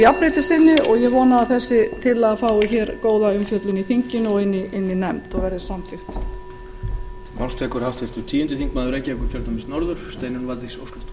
jafnréttissinni og ég vona að þessi tillaga fái hér góða umfjöllun í þinginu og inni í nefnd og verði samþykkt